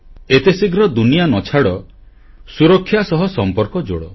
ଏତେ ଶୀଘ୍ର ଦୁନିଆ ନ ଛାଡ଼ ସୁରକ୍ଷା ସହ ସମ୍ପର୍କ ଯୋଡ଼